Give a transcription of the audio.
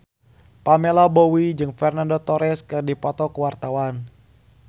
Pamela Bowie jeung Fernando Torres keur dipoto ku wartawan